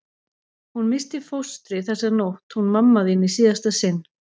Hún missti fóstrið þessa nótt hún mamma þín í síðasta sinn.